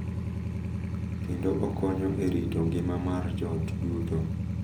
Kendo okonyo e rito ngima mar joot duto.